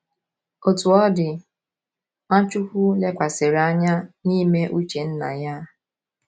Otú ọ dị, Nwachukwu lekwasịrị anya n’ime uche Nna ya.